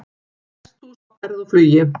Hesthús á ferð og flugi